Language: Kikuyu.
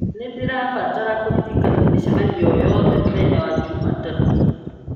nĩ ndĩrabatara kũririkanio mĩcemanio o yothe mũthenya wa jumatatũ